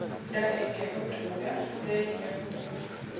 Ndaa ĩgĩgutuura, rĩa irio huthu